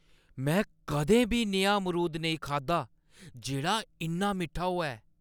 में कदें बी नेहा अमरूद नेईं खाद्धा जेह्ड़ा इन्ना मिट्ठा होऐ!